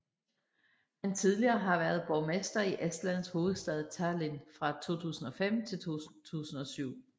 Han tidligere har været borgmester i Estlands hovedstad Tallinn fra 2005 til 2007